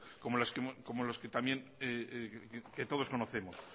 como los que todos conocemos